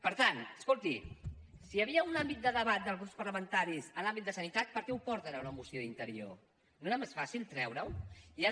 per tant escolti si hi havia un àmbit de debat dels grups parlamentaris en l’àmbit de sanitat per què ho porten a una moció d’interior no era més fàcil treure ho i ara